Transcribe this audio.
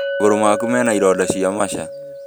Magũrũ maku mena ironda cia macha